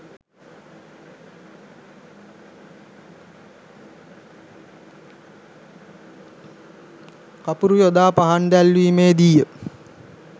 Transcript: කපුරු යොදා පහන් දැල්වීමේ දී ය